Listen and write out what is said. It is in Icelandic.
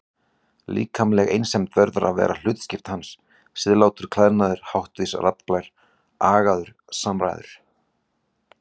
Líkamleg einsemd verður að vera hlutskipti hans, siðlátur klæðnaður, háttvís raddblær, agaðar samræður.